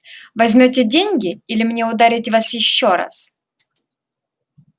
возьмёте деньги или мне ударить вас ещё раз